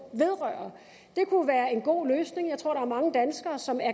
vedrører det kunne være en god løsning jeg tror er mange danskere som er